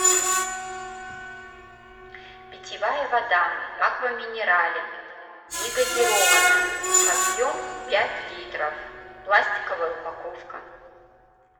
питьевая вода аква минерале негазированная объем пять литров пластиковая упаковка